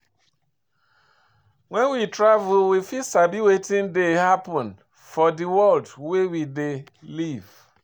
When we travel we fit sabi wetin dey happen for di world wey we dey live